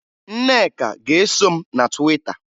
Nneka ga-eso m na Twita